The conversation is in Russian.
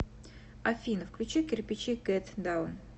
афина включи кирпичи гет даун